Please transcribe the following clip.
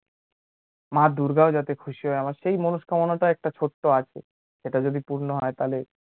মা দুর্গাও যাতে খুশি হয়, আমার সেই মনস্কামনাটা একটা ছোট্ট আছে, ওটা যদি পূর্ণ হয় তাহলে